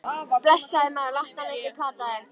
Blessaður, maður, láttu hana ekki plata þig.